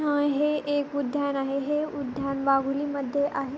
हे एक उद्यान आहे हे उद्यान वाहुली मध्ये आहे.